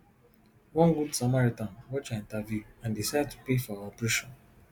one good samaritan watch her interview and decide to pay for her operation